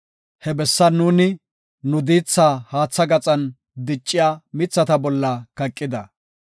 He bessan nuuni nu diithaa haatha gaxan dicciya, mithata bolla kaqida.